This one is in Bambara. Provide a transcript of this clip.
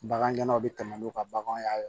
Bagangɛn naw bɛ tɛmɛ n'u ka baganw ye